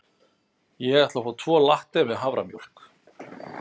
Ég ætla að fá tvo latte með haframjólk.